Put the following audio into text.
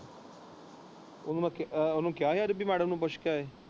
ਉਹਨੇ ਕਹਿਆ ਨੀ ਰਬੀ ਮੈਡਮ ਨੂੰ ਪੁੱਛ ਕੇ ਆਏ।